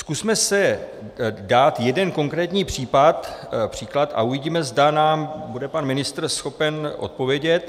Zkusme si dát jeden konkrétní příklad a uvidíme, zda nám bude pan ministr schopen odpovědět.